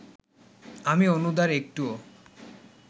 আমি অনুদার একটুও